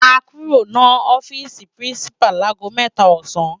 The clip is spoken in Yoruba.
Á kúró no òfisi pirinsipá lagó mètá òsán